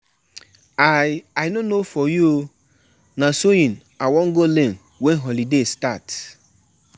I don plan with di DJ say na only gospel song he go play for the thanksgiving